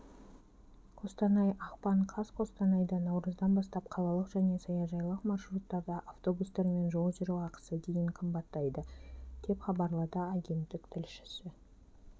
қостанай ақпан қаз қостанайда наурыздан бастап қалалық және саяжайлық маршруттарда автобустармен жол жүру ақысы дейін қымбаттайды деп хабарлады агенттік тілшісі